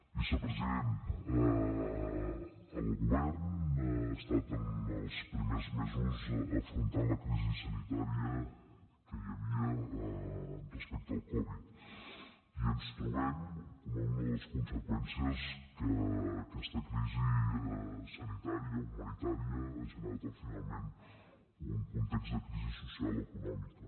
vicepresident el govern ha estat en els primers mesos afrontant la crisi sanitària que hi havia respecte al covid i ens trobem com una de les conseqüències que aquesta crisi sanitària humanitària ha generat finalment un context de crisi social i econòmica